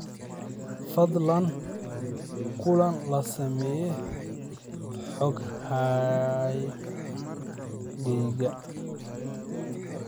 fadlan kulan la samee xoghaygayga